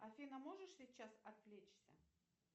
афина можешь сейчас отвлечься